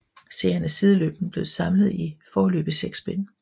Serien er sideløbende blevet samlet i foreløbig 6 bind